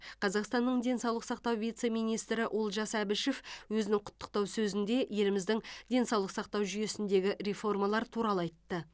қазақстанның денсаулық сақтау вице министрі олжас әбішев өзінің құттықтау сөзінде еліміздің денсаулық сақтау жүйесіндегі реформалар туралы айтты